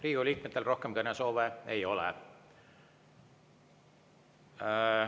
Riigikogu liikmetel rohkem kõnesoove ei ole.